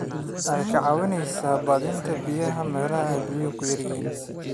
Waxay ka caawisaa badbaadinta biyaha meelaha ay biyuhu ku yar yihiin.